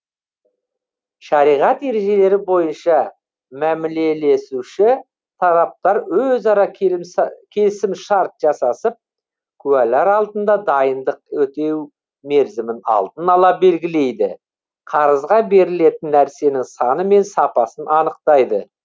шариғат ережелері бойынша мәмілелесуші тараптар өзара келісімшарт жасасып куәлар алдында дайындық өтеу мерзімін алдын ала белгілейді қарызға берілетін нәрсенің саны мен сапасын анықтайды